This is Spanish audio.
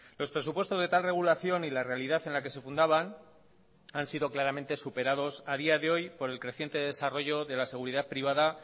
los presupuestos de tal regulación y la realidad en la que se fundaban han sido claramente superados a día de hoy por el creciente desarrollo de la seguridad privada